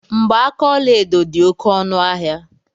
Mgbaaka ọlaedo di oké ọnu ahia